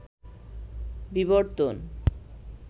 বিবর্তন